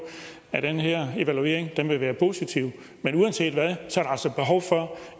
at den her evaluering vil være positiv men uanset hvad